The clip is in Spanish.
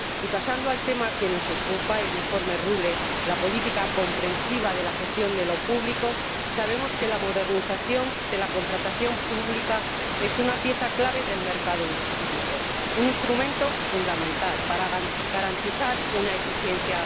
Y, pasando al tema que nos ocupa, el informe Rühle, la política comprensiva de la gestión de lo público, sabemos que la modernización de la contratación pública es una pieza clave del mercado único, un instrumento fundamental para garantizar una eficiencia.